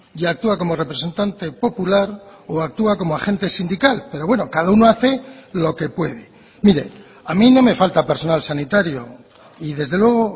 y actúa como representante popular o actúa como agente sindical pero bueno cada uno hace lo que puede mire a mí no me falta personal sanitario y desde luego